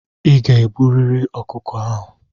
I ga-egburịrị ọkụkọ ahụ!